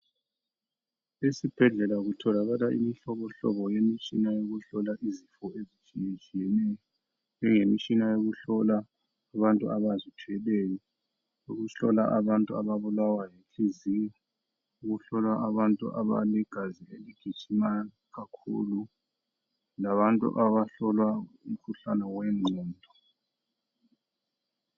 Esibhedlela kutholakala imihlobohlobo yemitshina yokuhlola izifo ezitshiyetshiyeneyo njengemitshina yokuhlola abantu abazithweleyo, ukuhlola abantu ababulawa yinhliziyo, ukuhlola abantu abalegazi eligijima kakhulu labantu abahlolwa umkhuhlane wengqondo.